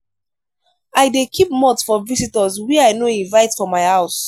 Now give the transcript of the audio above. i dey keep malt for visitors wey i no invite for my house.